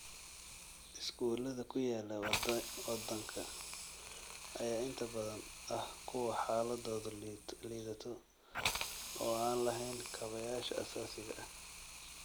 Iskuulada ku yaala wadanka ayaa inta badan ah kuwo xaaladoodu liidato oo aan lahayn kaabayaasha aasaasiga ah.